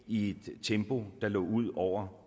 i et tempo der lå ud over